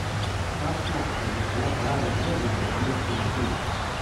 Kakšna pa bo šele parada zvezdnikov v mestu luči!